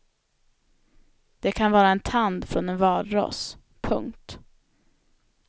Det kan vara en tand från en valross. punkt